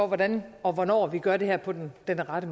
hvordan og hvornår vi gør det her på den den rette